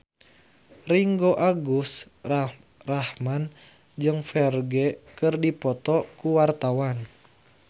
Ringgo Agus Rahman jeung Ferdge keur dipoto ku wartawan